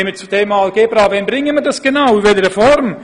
Wann bringen wir genau Algebra, und in welcher Form?